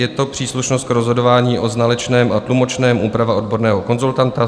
Je to příslušnost k rozhodování o znalečném a tlumočném, úprava odborného konzultanta.